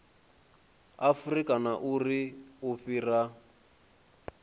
afurika na uri u fhira